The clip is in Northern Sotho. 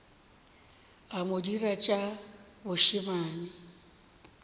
a mo dira tša bošemane